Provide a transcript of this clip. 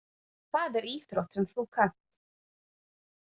Það er íþrótt sem þú kannt.